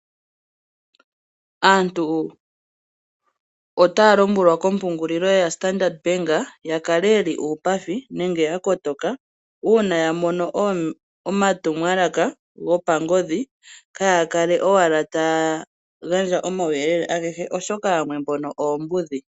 Aantu otaya lombwelwa kompungulilo yaStandard Bank ya kale ye li uupathi nenge ya kotoka, uuna ya mono omatumwalaka gopangodhi kaya kale owala taya gandja omauyelele agehe, oshoka yamwe mbono oombudhi.